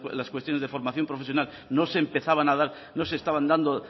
las cuestiones de formación profesional no se empezaban a dar no se estaban dando